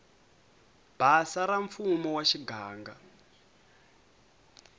basa ra mfumo wa muganga